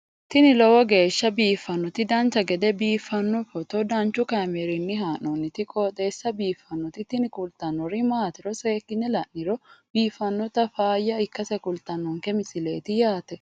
tini lowo geeshsha biiffannoti dancha gede biiffanno footo danchu kaameerinni haa'noonniti qooxeessa biiffannoti tini kultannori maatiro seekkine la'niro biiffannota faayya ikkase kultannoke misileeti yaate